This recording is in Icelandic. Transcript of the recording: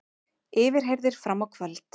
Yfirheyrðir fram á kvöld